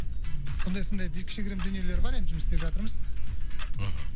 сондай сондай кішігірім дүниелер бар енді жұмыс істеп жатырмыз мхм